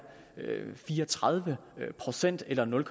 fire og tredive procent eller nul